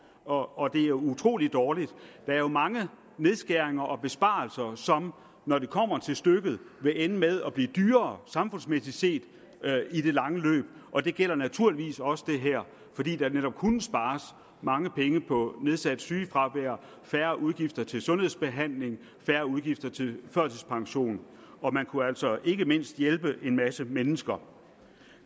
og og det er utrolig dårligt der er jo mange nedskæringer og besparelser som når det kommer til stykket vil ende med løb at blive dyrere samfundsmæssigt set og det gælder naturligvis også det her fordi der netop kunne spares mange penge på nedsat sygefravær færre udgifter til sundhedsbehandling færre udgifter til førtidspension og man kunne altså ikke mindst hjælpe en masse mennesker